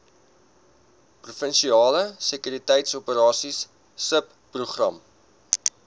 provinsiale sekuriteitsoperasies subprogram